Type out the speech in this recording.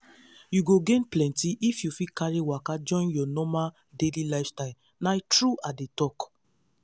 you go gain plenty if you fit carry waka join your normal daily lifestyle na true i dey talk.